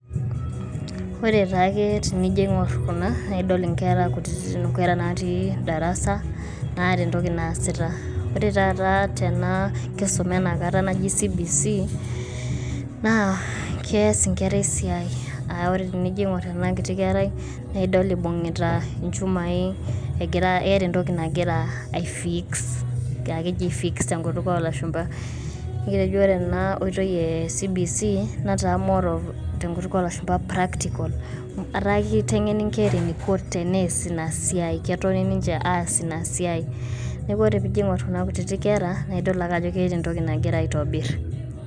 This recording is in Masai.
Ore taake tinijoo iny'orr kunaa naa idool nkerra nkutitin. Nkerra naati darasaa naeta ntooki naesita. Ore taata tenaa enkisuma e nakata najii CBC naa keas nkerra esiai a ore tinijoo iny'orr anaa nkitii nkerrai naa idool ebung'utaa elchumai ejiraa keeta ntokii najiraa aifiix akejii fix te eng'utuk e lashumbaa. Etojoo ore enaa nkotoi e CBC naitaamoro te ng'utuk e lashumbaa practicals etaa keteng'enii nkerra eneiko tenees naa esiai ketoon ninche aas naa esiai. Naa ore piiijin kuna nkutiti nkerra naa idool ake ajo keeta ntokii najiraa aitobir.